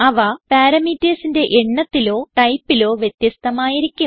അവ parametersന്റെ എണ്ണത്തിലോ ടൈപ്പിലോ വ്യത്യസ്ഥമായിരിക്കും